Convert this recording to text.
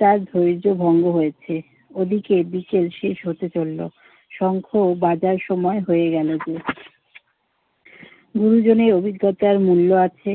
তার ধৈর্য্য ভঙ্গ হয়েছে। ওদিকে বিকেল শেষ হতে চলল। শঙ্খ ও বাজার সময় হয়ে গেল যে। গুরুজনের অভিজ্ঞতার মূল্য আছে,